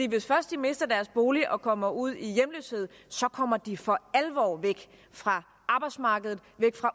hvis først de mister deres bolig og kommer ud i hjemløshed kommer de for alvor væk fra arbejdsmarkedet